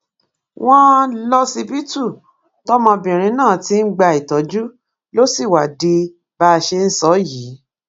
wọn lọsibítù tọmọbìnrin náà ti ń gba ìtọjú ló sì wá di bá a ṣe ń sọ yìí